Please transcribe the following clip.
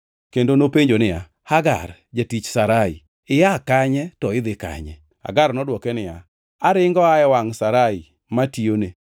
Kendo nopenjo niya, “Hagar jatich Sarai, ia kanye to idhi kanye?” Hagar nodwoke niya, “Aringo aa e wangʼ Sarai matiyone.”